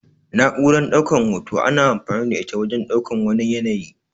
Na'uran ɗaukan hoto ana amfani da ita wajen ɗaukan wani yanayi.